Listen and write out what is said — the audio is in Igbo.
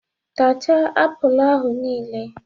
Tachaa apụl ahụ niile!